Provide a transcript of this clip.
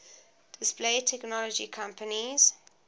display technology companies